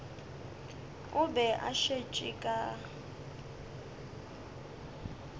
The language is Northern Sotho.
o be a šetše ka